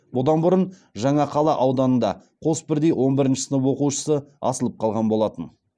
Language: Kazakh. бұдан бұрын жаңақала ауданында қос бірдей он бірінші сынып оқушысы асылып қалған болатын